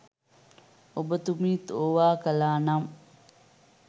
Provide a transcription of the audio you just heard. ඔබතුමීත් ඕවා කලානම්